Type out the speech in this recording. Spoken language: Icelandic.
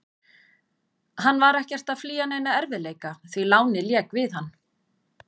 Hann var ekkert að flýja neina erfiðleika, því lánið lék við hann.